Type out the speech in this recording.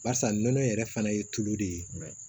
Barisa nɔnɔ yɛrɛ fana ye tulu de ye